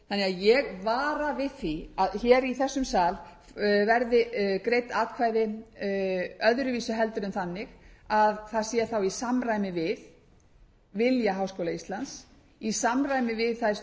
ég vara því við því að hér í þessum sal verði greidd atkvæði öðruvísi en þannig að það sé þá í samræmi við eiga háskóla íslands í samræmi við þær stjórnsýslulagfæringar sem